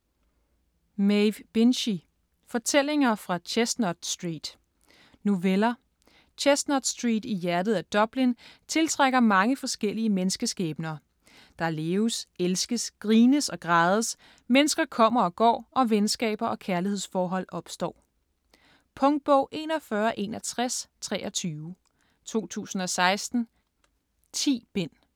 Binchy, Maeve: Fortællinger fra Chestnut Street Noveller. Chestnut Street i hjertet af Dublin tiltrækker mange forskellige menneskeskæbner. Der leves, elskes, grines og grædes, mennesker kommer og går og venskaber og kærlighedsforhold opstår. Punktbog 416123 2016. 10 bind.